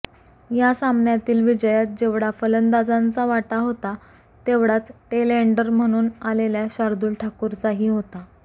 या सामन्यातील विजयात जेवढा फलंदाजांचा वाटा होता तेवढाच टेल एण्डर म्हणून आलेल्या शार्दुल ठाकूरचाही होता